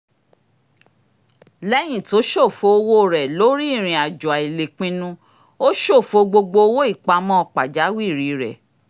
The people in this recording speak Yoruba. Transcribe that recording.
léyìn tó ṣòfò owó rẹ lórí ìrìnàjò àìlépinnu ó ṣòfò gbogbo owó ìpamọ́ pajawìrì rẹ